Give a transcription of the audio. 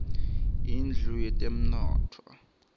indlu yetemnotfo